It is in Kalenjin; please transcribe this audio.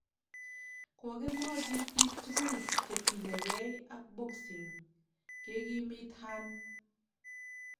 Kokemwochi biik tugul che tinyegei ak boxing ," kekimit Hearn.